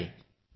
धन्यवाद